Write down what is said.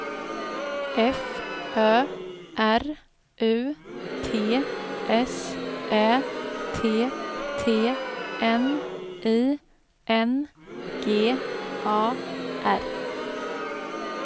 F Ö R U T S Ä T T N I N G A R